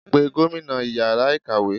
pè gómìnà ìyára ikáwe!